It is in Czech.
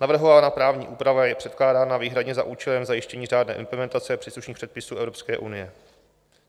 Navrhovaná právní úprava je předkládána výhradně za účelem zajištění řádné implementace příslušných předpisů Evropské unie.